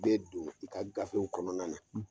I bɛ don i ka gafew kɔnɔna na ,.